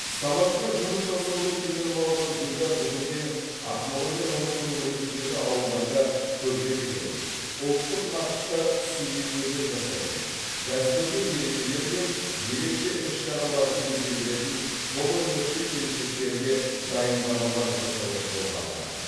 станокпен жұмыс жасауды үйреніп алған гүлдар бүгінде ақмола мен оның төңірегіндегі ауылдарда көрпе тігетін ұлттық нақышта сувенирлер жасайтын дәстүрлі мерекелер мен ерекше іс шараларды безендіретін қолөнерші келіншектерге дайындамалар жасауды қолға алған